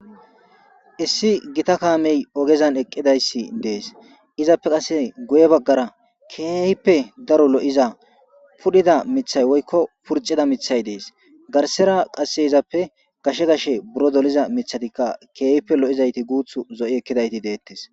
issi gita kaamey ogezan eqqidayssi dees izappe qasse guye baggara keehippe daro lo7iza pudhida mithay woykko purcida mithay dees garsera qasse izappe gashe gashe buro doliza mithatikka keehipe lo7izayti guuth zo7i ekkidayti deettes